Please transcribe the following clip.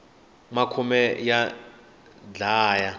makhume ya dlaya